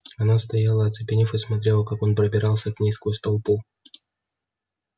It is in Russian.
она стояла оцепенев и смотрела как он пробирался к ней сквозь толпу